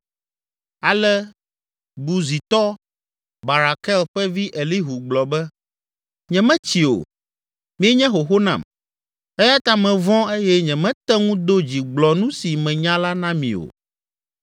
Ale Buzitɔ, Barakel ƒe vi Elihu gblɔ be, “Nyemetsi o, mienye xoxo nam eya ta mevɔ̃ eye nyemete ŋu do dzi gblɔ nu si menya la na mi o.